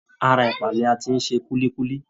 Ara ẹ̀pà ni a ti ń ṣe kúlíkúlí